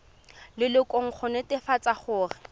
lelokong go netefatsa gore o